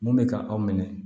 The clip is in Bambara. Mun bɛ ka aw minɛ